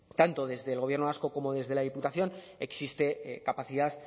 tanto desde el gobierno vasco como desde la diputación existe capacidad